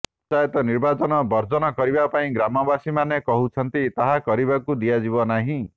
ପଞ୍ଚାୟତ ନିର୍ବାଚନ ବର୍ଜନ କରିବା ପାଇଁ ଗ୍ରାମବାସୀମାନେ କହୁଛନ୍ତି ତାହା କରିବାକୁ ଦିଆଯିବ ନାହିଁ